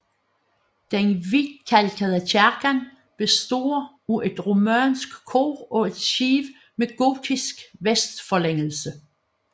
Den hvidkalkede kirke består af et romansk kor og et skib med gotisk vestforlængelse